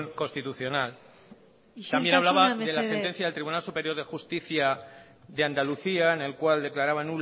constitucional isiltasuna mesedez también hablaba de la sentencia del tribunal superior de justicia de andalucía en el cual declaraba